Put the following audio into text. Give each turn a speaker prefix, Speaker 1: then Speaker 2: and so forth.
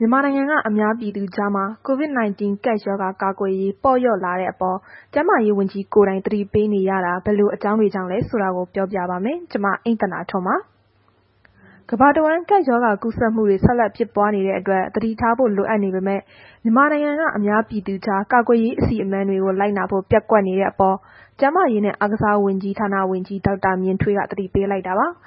Speaker 1: မြန်မာနိုင်ငံက အများပြည်သူကြားမှာ COVID 19 ကပ်ရောဂါကာကွယ်ရေး ပေါ့လျော့လာတဲ့အပေါ် ကျန်းမာရေးဝန်ကြီးကိုယ်တိုင် သတိပေးနေရတာ ဘယ်လိုအကြောင်းတွေကြောင့်လဲဆိုတာကို ပြောပြပါမယ်။ ဗွီအိုအေမြန်မာပိုင်းသတင်းထောက် မအိမ့်သန္တာထွန်းက သတင်းပေးပို့ထားပါတယ်။ ကမ္ဘာတဝန်း ကပ်ရောဂါကူးစက်မှုတွေ ဆက်လက် ဖြစ်ပွားနေတဲ့အတွက် သတိထားဖို့ လိုအပ်နေပေမဲ့ မြန်မာနိုင်ငံက အများပြည်သူကြား ကာကွယ်ရေး အစီအမံတွေကို လိုက်နာဖို့ ပျက်ကွက်နေတဲ့အပေါ် ကျန်းမာရေးနဲ့ အားကစားဝန်ကြီး ဒေါက်တာမြင့်ထွေးက သတိပေးလိုက်တာပါ။